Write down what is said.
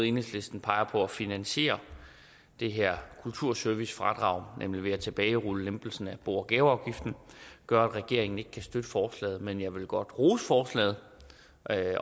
enhedslisten peger på for at finansiere det her kulturservicefradrag nemlig ved at tilbagerulle lempelsen af bo og gaveafgiften gør at regeringen ikke kan støtte forslaget men jeg vil godt rose forslaget